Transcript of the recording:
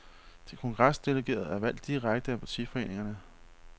De kongresdelegerede er valgt direkte af partiforeningerne.